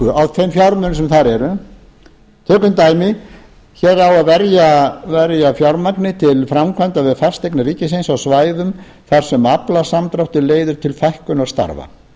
á þeim fjármunum sem þar eru tökum dæmi hér á að verja fjármagni til framkvæmda við fasteignir ríkisins á svæðum þar sem aflasamdráttur leiðir til fækkunar starfa